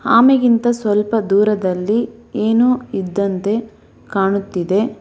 ಆಮೆಗಿಂತ ಸ್ವಲ್ಪ ದೂರದಲ್ಲಿ ಏನೋ ಇದ್ದಂತೆ ಕಾಣುತ್ತಿದೆ.